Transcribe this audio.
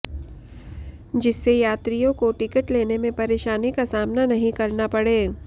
जिससे यात्रियों को टिकट लेने में परेशानी का सामना नहीं करना पड़े